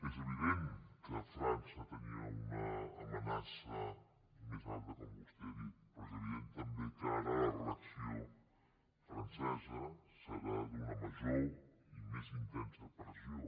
és evident que frança tenia una amenaça més alta com vostè ha dit però és evident també que ara la reacció francesa serà d’una major i més intensa pressió